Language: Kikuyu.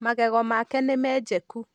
Magego make nĩ mejũku.